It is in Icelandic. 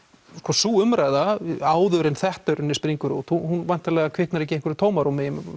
sú umræða áður en þetta springur út hún væntanlega kviknar ekki í einhverju tómarúmi